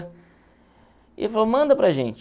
E ele falou, manda para a gente.